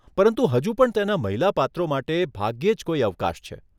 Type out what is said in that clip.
પરંતુ હજુ પણ તેના મહિલા પાત્રો માટે ભાગ્યે જ કોઈ અવકાશ છે.